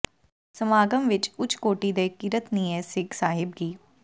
ਸਮਾਗਮ ਵਿਚ ਉਚ ਕੋਟੀ ਦੇ ਕੀਰਤਨੀਏ ਸਿੱਘ ਸਾਹਿਬ ਗਿ